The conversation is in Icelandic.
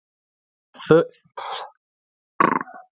Þjóðverja í Pólland.